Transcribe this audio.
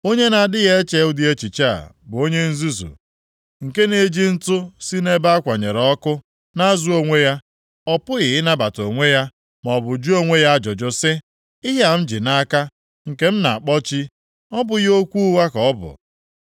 Onye na-adịghị eche ụdị echiche a bụ onye nzuzu, nke na-eji ntụ si nʼebe a kwanyere ọkụ na-azụ onwe ya. Ọ pụghị ịnapụta onwe ya, maọbụ jụọ onwe ya ajụjụ sị, “Ihe a m ji nʼaka m, nke m na-akpọ chi, ọ bụghị okwu ụgha ka ọ bụ?”